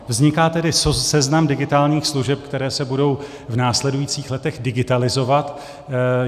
Vzniká tedy seznam digitálních služeb, které se budou v následujících letech digitalizovat.